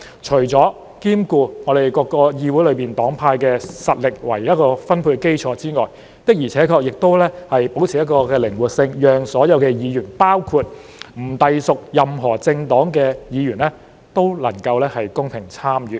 除了兼顧議會內各個黨派的實力作為分配基礎外，還保持靈活性，讓所有議員——包括不隸屬任何政黨的議員——都能夠公平參與。